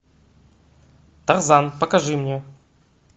тарзан покажи мне